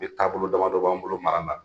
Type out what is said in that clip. E taabolo damadɔ b'an bolo mara la